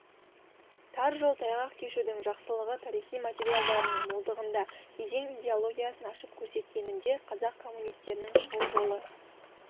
тар жол тайғақ кешудің жақсылығы тарихи материалдарының молдығында кезең идеологиясын ашып көрсеткенінде қазақ коммунистерінің шығу жолы